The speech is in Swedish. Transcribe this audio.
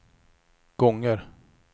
gånger